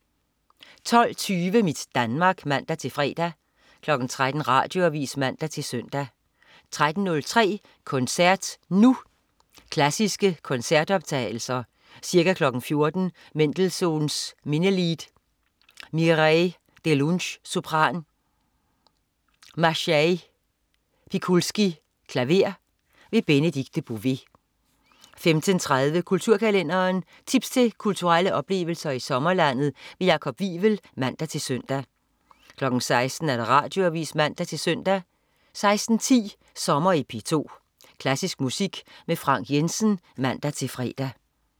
12.20 Mit Danmark (man-fre) 13.00 Radioavis (man-søn) 13.03 Koncert Nu. Klassiske koncertoptagelser. Ca. 14.00 Mendelssohns Minnelied. Mireille Dellunsch, sopran. Maciej Pikulski, klaver. Benedikte Bové 15.30 Kulturkalenderen. Tips til kulturelle oplevelser i sommerlandet. Jakob Wivel. (man-søn) 16.00 Radioavis (man-søn) 16.10 Sommer i P2. Klassisk musik med Frank Jensen (man-fre)